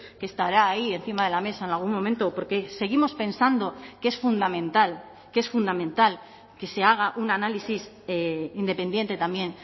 que estará ahí encima de la mesa en algún momento porque seguimos pensando que es fundamental que es fundamental que se haga un análisis independiente también